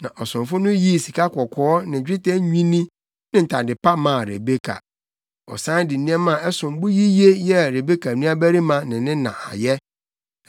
Na ɔsomfo no yii sikakɔkɔɔ ne dwetɛ nnwinne ne ntade maa Rebeka. Ɔsan de nneɛma a ɛsom bo yiye yɛɛ Rebeka nuabarima ne ne na ayɛ.